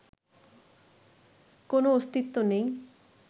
কোনো অস্তিত্ব নেই